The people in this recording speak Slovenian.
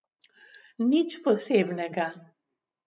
Nič posebnega.